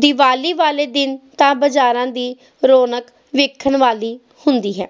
ਦੀਵਾਲੀ ਵਾਲੇ ਦਿਨ ਤਾ ਬਜਾਰਾਂ ਦੀ ਰੌਣਕ ਵੇਖਣ ਵਾਲੀ ਹੁੰਦੀ ਹੈ